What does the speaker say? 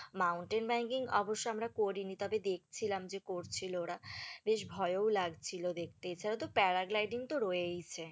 mountain banking অবশ্য আমরা করিনি, তবে দেখছিলাম যে করছিলো ওরা, বেশ ভয়ও লাগছিলো দেখতে, এছাড়াও তো parad lighting রয়েইছে,